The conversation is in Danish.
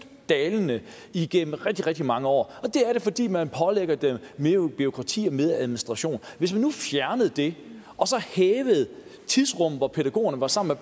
dalende igennem rigtig rigtig mange år og det har det fordi man pålægger dem mere bureaukrati og mere administration hvis vi nu fjernede det og hævede tidsrummet hvor pædagogerne var sammen